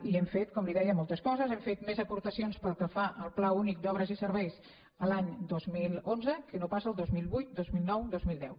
i hem fet com li deia moltes coses hem fet més aportacions pel que fa al pla únic d’obres i serveis l’any dos mil onze que no pas el dos mil vuit dos mil nou dos mil deu